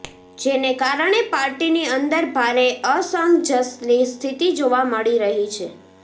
જેને કારણે પાર્ટીની અંદર ભારે અસંજસની સ્થિતિ જોવા મળી રહી છે